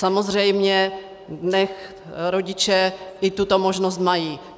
Samozřejmě, nechť rodiče i tuto možnost mají.